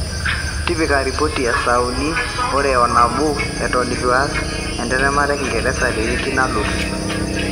tipika ripoti e saa uni are o nabo eton eitu aas entemata e kingeresa tewiki nalotu